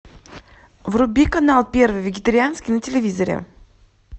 вруби канал первый вегетарианский на телевизоре